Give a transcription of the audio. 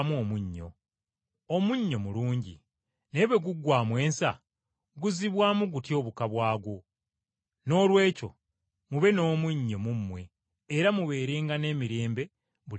“Omunnyo mulungi, naye bwe guggwaamu ensa, guzzibwamu gutya obuka bwagwo? Noolwekyo mube n’omunnyo mu mmwe era mubeerenga n’emirembe buli muntu ne munne.”